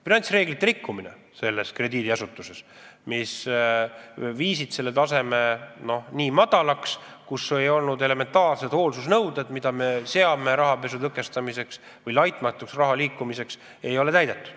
Finantsreeglite rikkumine selles krediidiasutuses viis panga taseme nii madalaks, et ei täidetud elementaarseidki hoolsusnõudeid, mis on seatud rahapesu tõkestamiseks ja raha laitmatuks liikumiseks.